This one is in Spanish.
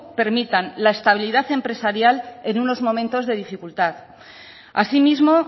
permitan la estabilidad empresarial en unos momentos de dificultad así mismo